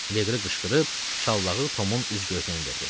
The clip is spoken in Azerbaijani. Leqri qışqırıb şallağı Tomun üz-gözünə endirdi.